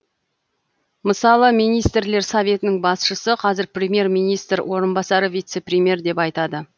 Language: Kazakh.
мысалы министрлер советінің басшысы қазір премьер министр орынбасары вице премьер деп айтады